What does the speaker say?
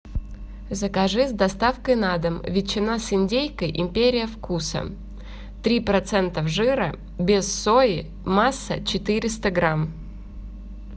закажи с доставкой на дом ветчина с индейкой империя вкуса три процента жира без сои масса четыреста грамм